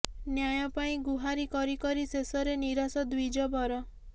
ନ୍ୟାୟ ପାଇଁ ଗୁହାରି କରି କରି ଶେଷରେ ନିରାଶ ଦ୍ୱିଜବର